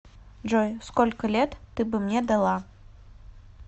джой сколько лет ты бы мне дала